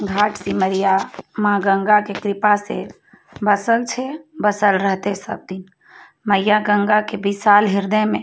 घाट सिमरिया माँ गंगा के कृपा से बसल छे बसल रहते सब दिन मईया गंगा के बिशाल हृदय में।